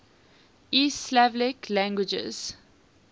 east slavic languages